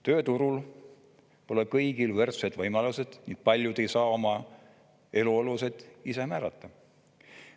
Tööturul pole kõigil võrdsed võimalused ning paljud ei saa oma eluolu ise määrata.